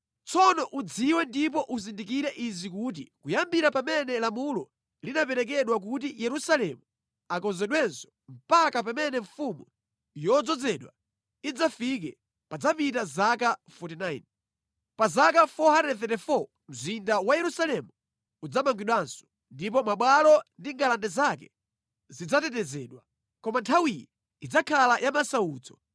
“Tsono udziwe ndipo uzindikire izi kuti kuyambira pamene lamulo linaperekedwa kuti Yerusalemu akonzedwenso mpaka pamene mfumu Yodzozedwa idzafike padzapita zaka 49. Pa zaka 434 mzinda wa Yerusalemu udzamangidwanso, ndipo mabwalo ndi ngalande zake zidzatetezedwa. Koma nthawiyi idzakhala ya masautso.